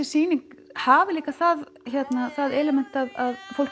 sýning hafi líka það það element